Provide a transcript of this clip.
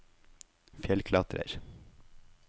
fjellklatrer